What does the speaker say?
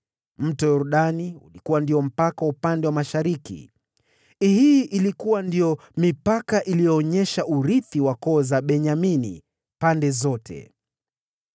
Nayo Yordani ikawa ndio mpaka wa upande wa mashariki. Hii ilikuwa ndiyo mipaka iliyoonyesha urithi wa koo za Benyamini pande zote.